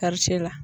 Karice la